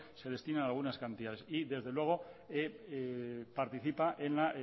se destinan algunas cantidades y desde luego participa en el